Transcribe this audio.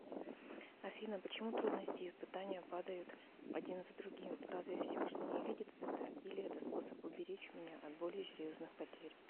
афина почему трудности и испытания падают один за другим разве всевышний не видит это или это способ уберечь меня от более серьезных потерь